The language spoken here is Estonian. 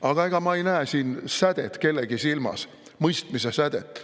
Aga ega ma ei näe siin kellegi silmis sädet, mõistmise sädet.